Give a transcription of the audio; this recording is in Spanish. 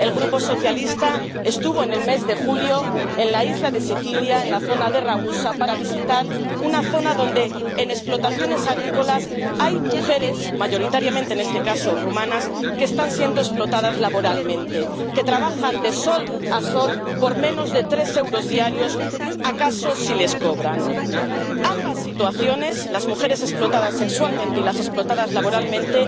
El Grupo socialista estuvo en el mes de julio en la isla de Sicilia, en la zona de Ragusa, para visitar una zona donde en explotaciones agrícolas hay mujeres —mayoritariamente, en este caso, rumanas— que están siendo explotadas laboralmente, que trabajan de sol a sol por menos de tres euros diarios, si acaso los cobran. Ambas situaciones, las mujeres explotadas sexualmente y las explotadas laboralmente,